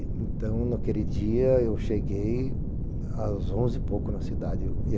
Então, naquele dia, eu cheguei às onze e pouco na cidade.